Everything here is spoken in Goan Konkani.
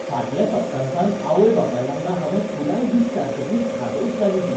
फाटल्या सप्ततांत आवय बापाय वांगडा हावें पुराय दीस सारतकीर धादोस जालीं तीं.